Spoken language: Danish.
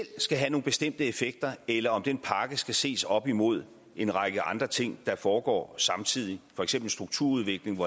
skal have nogle bestemte effekter eller om den pakke skal ses op imod en række andre ting der foregår samtidig for eksempel strukturudviklingen